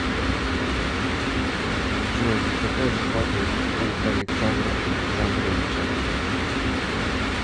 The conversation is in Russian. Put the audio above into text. джой какая зарплата у александра александровича